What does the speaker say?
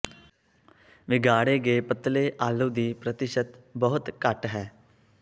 ਵਿਗਾੜੇ ਗਏ ਪਤਲੇ ਆਲੂ ਦੀ ਪ੍ਰਤੀਸ਼ਤ ਬਹੁਤ ਘੱਟ ਹੈ